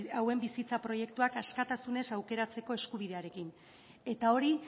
hauen bizitza proiektuak askatasunez aukeratzeko eskubidearekin eta hori